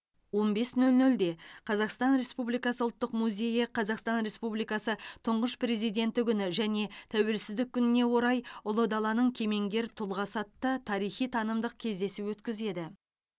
он бес нөл нөлде қазақстан республикасы ұлттық музейі қазақстан республикасы тұңғыш президенті күні және тәуелсіздік күніне орай ұлы даланың кемеңгер тұлғасы атты тарихи танымдық кездесу өткізеді